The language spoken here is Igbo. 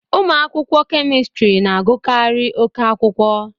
Ụmụ akwụkwọ Kemistịrị na agụkari oké akwụkwọ